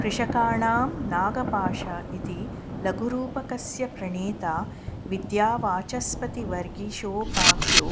कृषकाणां नागपाश इति लघुरूपकस्य प्रणेता विद्यावाचस्पतिर्वागीशोपाख्यो